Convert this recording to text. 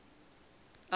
elvis